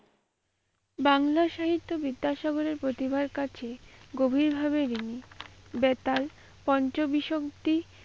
বাংলা সাহিত্য বিদ্যাসাগরের পতিভার কাছে গভীরভাবে বেতাল পঞ্চবিংশতি।